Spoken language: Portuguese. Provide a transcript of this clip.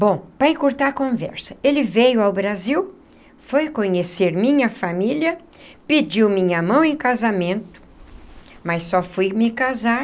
Bom, para encurtar a conversa... ele veio ao Brasil... foi conhecer minha família... pediu minha mão em casamento... mas só fui me casar...